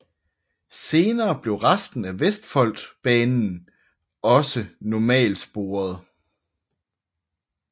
Senere blev resten af Vestfoldbanen også normalsporet